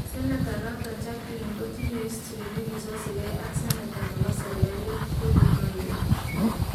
Senata noton Jackline kotinye history nekisoseke ak seneta nebo serkalit corey maiwa